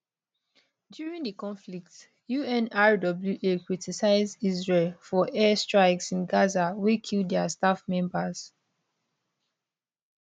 during di conflict unrwa criticise israel for air strikes in gaza wey kill dia staff members